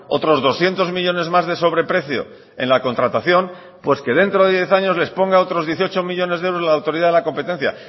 otros doscientos millónes más de sobreprecio en la contratación pues que dentro de diez años les ponga otros dieciocho millónes de euros la autoridad de la competencia